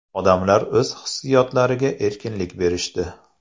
Odamlar o‘z hissiyotlariga erkinlik berishdi.